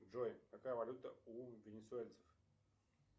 джой какая валюта у венесуэльцев